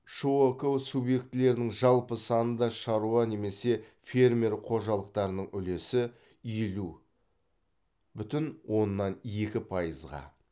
шок субъектілерінің жалпы санында шаруа немесе фермер қожалықтарының үлесі елу бүтін оннан екі пайызға